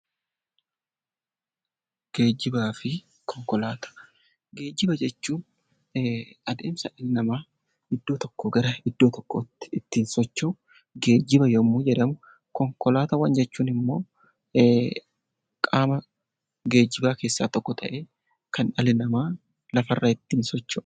Geejjiba jechuun adeemsa dhalli namaa iddoo tokkoo gara iddoo tokkootti ittiin socho'u geejjiba yoo ta'u, konkolaataawwan jechuun immoo qaama geejjibaa keessaa tokko ta'ee kan dhalli namaa ittiin socho'udha.